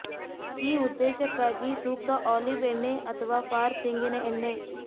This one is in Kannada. ಈ ಉದ್ದೇಶಕ್ಕಾಗಿ ಸೂಕ್ತ ಆಲಿವ್ ಎಣ್ಣೆ ಅಥವಾ ಫಾರ್ ತೆಂಗಿನ ಎಣ್ಣೆ